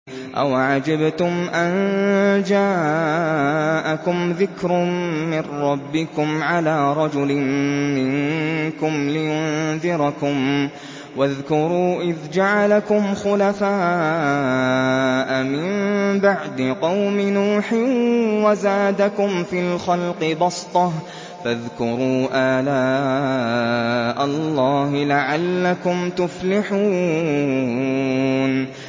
أَوَعَجِبْتُمْ أَن جَاءَكُمْ ذِكْرٌ مِّن رَّبِّكُمْ عَلَىٰ رَجُلٍ مِّنكُمْ لِيُنذِرَكُمْ ۚ وَاذْكُرُوا إِذْ جَعَلَكُمْ خُلَفَاءَ مِن بَعْدِ قَوْمِ نُوحٍ وَزَادَكُمْ فِي الْخَلْقِ بَسْطَةً ۖ فَاذْكُرُوا آلَاءَ اللَّهِ لَعَلَّكُمْ تُفْلِحُونَ